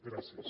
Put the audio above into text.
gràcies